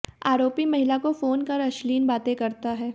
आरोपी महिला को फोन कर अश्लील बातें करता है